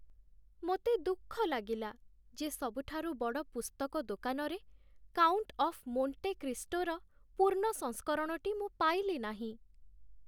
ମୋତେ ଦୁଃଖ ଲାଗିଲା ଯେ ସବୁଠାରୁ ବଡ଼ ପୁସ୍ତକ ଦୋକାନରେ "କାଉଣ୍ଟ୍ ଅଫ୍ ମୋଣ୍ଟେ କ୍ରିଷ୍ଟୋ"ର ପୂର୍ଣ୍ଣ ସଂସ୍କରଣଟି ମୁଁ ପାଇଲି ନାହିଁ।